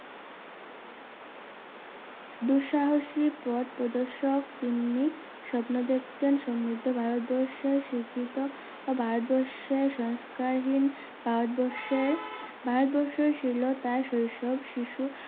দুঃসাহসিক পথ পদর্শক তিনি স্বপ্ন দেখতেন সমৃদ্ধ ভারতবর্ষে শিক্ষত ভারতবর্ষের সংস্কার হীন ভারতবর্ষের ভারতবর্ষ শীলতা শৈশব শিশু